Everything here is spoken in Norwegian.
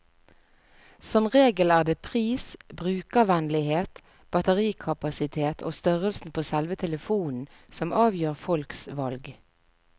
Som regel er det pris, brukervennlighet, batterikapasitet og størrelsen på selve telefonen som avgjør folks valg.